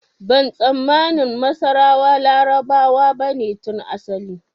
Ban tsammani masarawa Larabawa bane tun asali